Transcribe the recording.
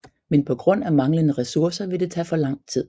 Men på grund af manglende resourcer vil det tage for lang tid